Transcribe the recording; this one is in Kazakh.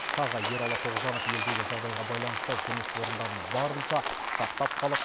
тағы ералы тоғжанов елдегі жағдайға байланысты жұмыс орындарын барынша сақтап қалып